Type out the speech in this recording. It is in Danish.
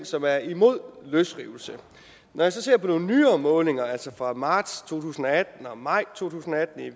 som er imod løsrivelse når jeg så ser på nogle nyere målinger fra marts to tusind og atten og maj to tusind og atten i